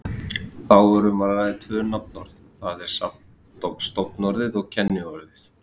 Þá er um að ræða tvö nafnorð, það er stofnorðið og kenniorðið.